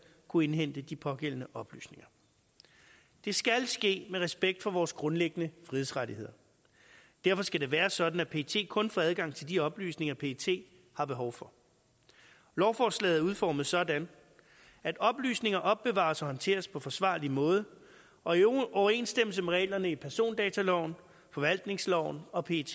kunne indhente de pågældende oplysninger det skal ske med respekt for vores grundlæggende frihedsrettigheder derfor skal det være sådan at pet kun får adgang til de oplysninger pet har behov for lovforslaget er udformet sådan at oplysninger opbevares og håndteres på forsvarlig måde og i overensstemmelse med reglerne i persondataloven forvaltningsloven og pet